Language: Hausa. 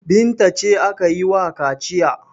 Binta ce ake yi wa kaciya.